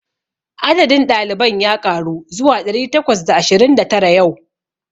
Adadin ɗaliban ya ƙaru zuwa ɗari takwas da ashirin da tara yau.